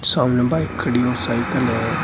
सामने बाइक खड़ी और साइकिल है।